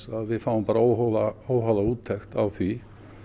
að við fáum bara óháða óháða úttekt á því